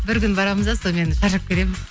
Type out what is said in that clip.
бір күн барамыз да сонымен шаршап келеміз